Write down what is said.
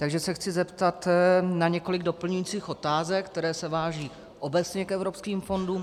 Takže se chci zeptat na několik doplňujících otázek, které se váží obecně k evropským fondům.